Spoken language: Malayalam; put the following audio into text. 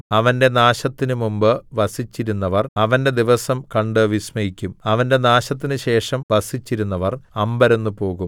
അവന്റെ നാശത്തിനു മുമ്പ് വസിച്ചിരുന്നവര്‍ അവന്റെ ദിവസം കണ്ട് വിസ്മയിക്കും അവന്റെ നാശത്തിനു ശേഷം വസിച്ചിരുന്നവര്‍ അമ്പരന്ന് പോകും